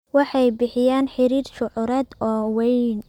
Waxay bixiyaan xiriir shucuureed oo weyn.